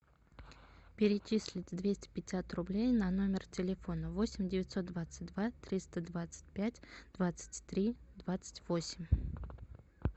перечислить двести пятьдесят рублей на номер телефона восемь девятьсот двадцать два триста двадцать пять двадцать три двадцать восемь